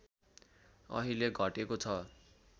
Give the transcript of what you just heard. अहिले घटेको छ